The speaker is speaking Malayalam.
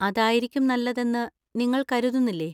അതായിരിക്കും നല്ലതെന്ന് നിങ്ങൾ കരുതുന്നില്ലേ.